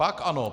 Pak ano.